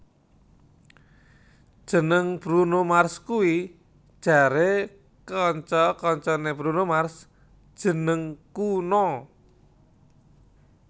Jeneng Bruno Mars kuwi jare kanca kancane Bruno Mars jeneng kuna